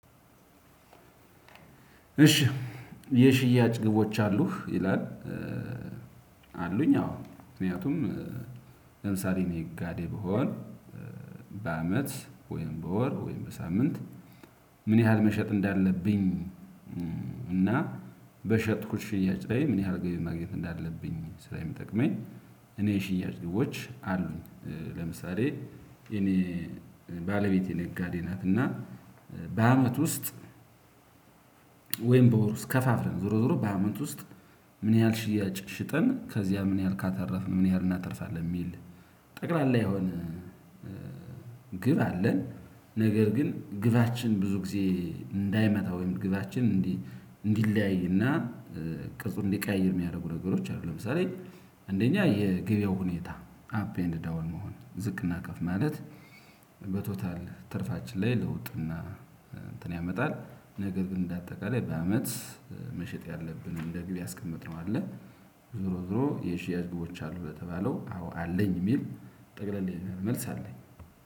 እሺ የሽያጭ ግቦች አሉህ ይላል? አሉኝ አዎ ምክንያቱም ለምሳሌ እኔ ነጋዴ ብሆን በአመት ወይም በወር ወይም በሳምንት ምን ያህል መሸጥ እንዳለብኝ። እና በሸጥኩት ሽያጭ ላይ ምን ያህል ግቢ ማግኘት እንዳለብኝ ስራዬን የምጠቅመኝ እኔ ሽያጭ ግቦች አሉኝ። ለምሳሌ እመ ባለቤቴ ነጋዴ ናት እና በአመት ውስጥ ወይም በወር ውስጥ ከፋፍላ ዞሮዞሮ በአመት ውስጥ ምን ያህል ሽያጭ ሽጠን ከዚያ ምን ያህል ካተረፍን ምን ያህል እናተርፋለን የሚል። ጠቅላላ የሆነ ግብ አለን። ነገር ግን ግባችን ብዙ ጊዜ እንዳይመታ ወይም ግባችን እንዲህ እንዲለያይና ቅርፁ እንዲቀያየር የሚያደርጉ ነገሮች አሉ። ለምሳሌ አንደኛ የገበያው ሁኔታ አፕ ኤንድ ዳውን መሆን ዝቅና ከፍ ማለት። በቶታል ትርፋችን ላይ ለውጥና እንትን ያመጣል። ነገር ግን እንደ አጠቃላይ በአመት መሸጥ ያለብንን ለግብ ያስቀመጥነው አለ። ዞሮ ዞሮ የሽያጭ ግቦች አሉ? በተባለው አዎ አለኝ የሚል ጠቅለል ያለ መልስ አለኝ።